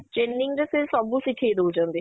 Training ରେ ସେ ସବୁ ଶିଖେଇ ଦଉଛନ୍ତି